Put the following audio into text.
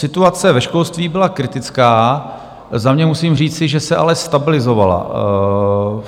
Situace ve školství byla kritická, za mě musím říci, že se ale stabilizovala.